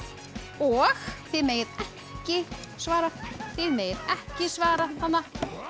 og þið megið ekki svara þið megið ekki svara þarna